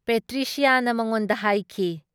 ꯄꯦꯇ꯭ꯔꯤꯁꯤꯌꯥꯅ ꯃꯉꯣꯟꯗ ꯍꯥꯏꯈꯤ ꯫